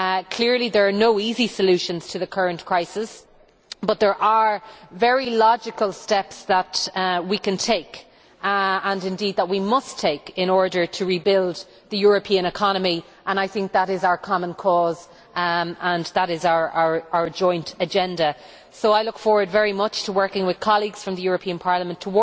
Clearly there are no easy solutions to the current crisis but there are very logical steps that we can take and indeed that we must take in order to rebuild the European economy and I think that is our common cause and that is our joint agenda. So I look forward very much to working towards this objective with colleagues from the European Parliament,